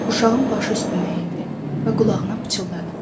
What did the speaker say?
Uşağın başı üstünə əyildi və qulağına pıçıldadı.